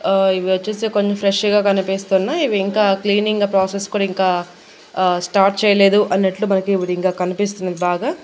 ఆ ఇవి వచ్చేసి కొన్ని ఫ్రెష్ గా కనిపిస్తున్నాయ్ ఇవి ఇంకా క్లీనింగ్ ప్రాసెస్ కూడా ఇంకా ఆ స్టార్ట్ చేయలేదు అన్నట్లు మనకు ఇప్పుడు ఇంకా కనిపిస్తున్నది బాగా--